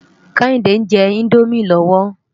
Kehinde njè Indómi lòwó